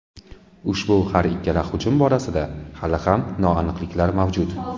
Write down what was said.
Ushbu har ikkala hujum borasida hali ham noaniqliklar mavjud.